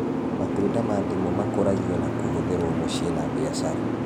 Matunda ma ndimũ makũragio na kũhũthĩrwo mũciĩ na mbiacara